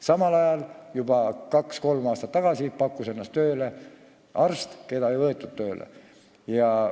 Samal ajal pakkus juba kaks-kolm aastat tagasi ennast tööle arst, keda sinna tööle ei võetud.